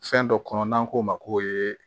Fɛn dɔ kɔnɔ n'an k'o ma ko